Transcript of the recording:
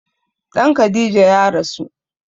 Ɗan Khadija ya rasu